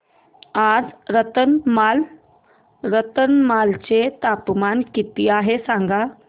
आज रतलाम चे तापमान किती आहे सांगा